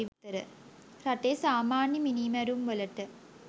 රටේ සාමාන්‍ය මිනීමැරුම් වලට